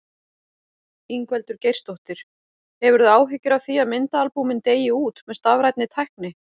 Ingveldur Geirsdóttir: Hefurðu áhyggjur af því að myndaalbúmin deyi út með stafrænni tækni?